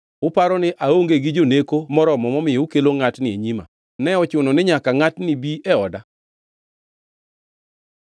Uparo ni aonge gi joneko moromo momiyo ukelo ngʼatni e nyima? Ne ochuno ni nyaka ngʼatni bi e oda?”